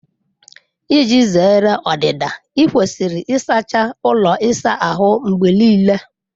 Iji zere ọdịda, ị kwesịrị ịsacha ụlọ ịsa ahụ mgbe niile